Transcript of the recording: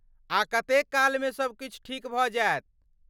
आ कतेक कालमे सबकिछु ठीक भऽ जायत?